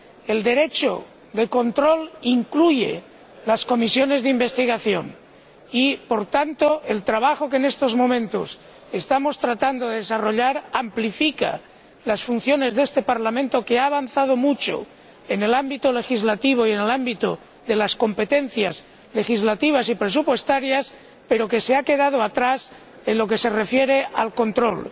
El derecho de control incluye las comisiones de investigación y, por tanto, el trabajo que en estos momentos estamos tratando de desarrollar amplifica las funciones de este Parlamento, que ha avanzado mucho en el ámbito legislativo y en el ámbito de las competencias legislativas y presupuestarias, pero que se ha quedado atrás en lo que se refiere al control.